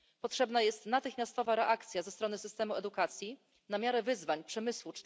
Potrzebna jest natychmiastowa reakcja ze strony systemu edukacji na miarę wyzwań przemysłu